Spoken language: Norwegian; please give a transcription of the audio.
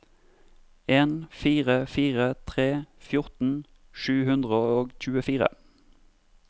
en fire fire tre fjorten sju hundre og tjuefire